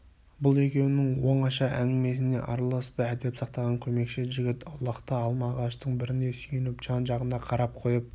бұл екеуінің оңаша әңгімесіне араласпай әдеп сақтаған көмекші жігіт аулақта алма ағаштың біріне сүйеніп жан-жағына қарап қойып